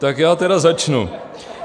Tak já tedy začnu.